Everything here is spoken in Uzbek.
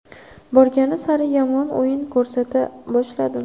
Borgan sari yomon o‘yin ko‘rsata boshladim.